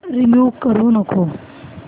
remove करू नको